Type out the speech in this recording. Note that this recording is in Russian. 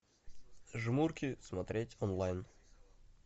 жмурки смотреть онлайн